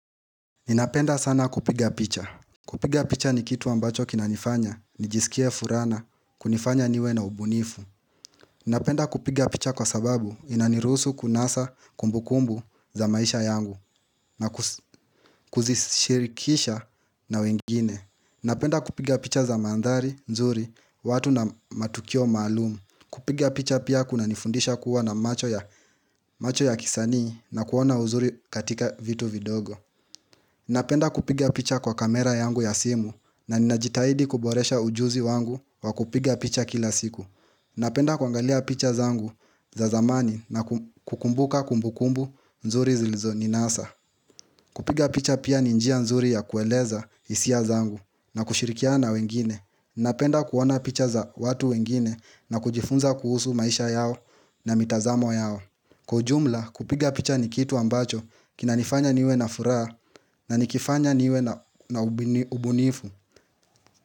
Ninapenda sana kupiga picha kupiga picha ni kitu ambacho kinanifanya nijisikie furaha na kunifanya niwe na ubunifu Ninapenda kupiga picha kwa sababu Inanirusu kunasa kumbukumbu za maisha yangu na kuzishirikisha na wengine Ninapenda kupiga picha za mandhari, nzuri, watu na matukio maalumu kupiga picha pia kuna nifundisha kuwa na macho ya kisanii na kuona uzuri katika vitu vidogo Napenda kupiga picha kwa kamera yangu ya simu na ninajitahidi kuboresha ujuzi wangu wa kupiga picha kila siku. Napenda kuangalia picha zangu za zamani na kukumbuka kumbukumbu nzuri zilizoninasa. Kupiga picha pia ni njia nzuri ya kueleza hisia zangu na kushirikiana na wengine. Napenda kuona picha za watu wengine na kujifunza kuhusu maisha yao na mitazamo yao. Kwa ujumla kupiga picha ni kitu ambacho kinanifanya niwe na furaha na nikifanya niwe na ubunifu.